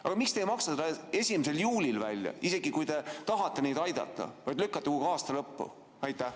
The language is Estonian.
Aga miks te ei maksa seda 1. juulil välja, isegi kui te tahate neid aidata, vaid lükkate aasta lõppu?